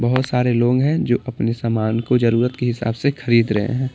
बहुत सारे लोग हैं जो अपने सामान को जरूरत के हिसाब से खरीद रहे हैं।